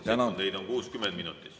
Tänan teid!